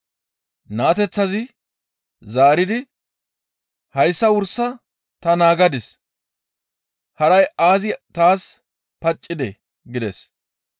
Naateththazi zaaridi, «Hayssa wursa ta naagadis; haray aazi taas paccidee?» gides.